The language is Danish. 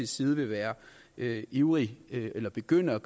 side vil være ivrig eller begynde at